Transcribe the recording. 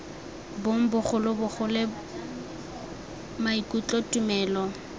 bong bogolo bogole maikutlo tumelo